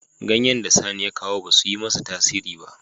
Ganyen da Sani ya kawo ba su yi masa tasiri ba.